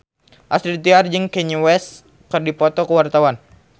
Astrid Tiar jeung Kanye West keur dipoto ku wartawan